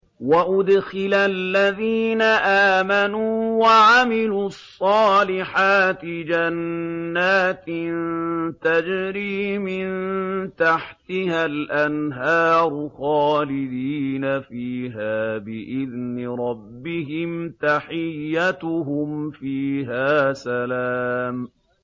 وَأُدْخِلَ الَّذِينَ آمَنُوا وَعَمِلُوا الصَّالِحَاتِ جَنَّاتٍ تَجْرِي مِن تَحْتِهَا الْأَنْهَارُ خَالِدِينَ فِيهَا بِإِذْنِ رَبِّهِمْ ۖ تَحِيَّتُهُمْ فِيهَا سَلَامٌ